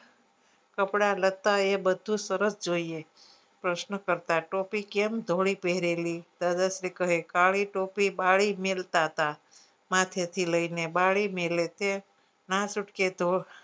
કપડા નતા એ બધું સરસ જોઈએ પ્રશ્નો કરતા ટોપી કેમ ધોળી પહરેલી દાદાશ્રી કહે કાળી ટોપી બાળી મેલતાતા માથે થી લઇ ને બાળી મેલે ના છુટકે તો